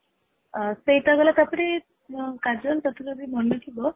ହଁ ସେଇଟା ଗଲା ତା ପରେ କାଜଲ ତୋତେ ଯଦି ମନେ ଥିବ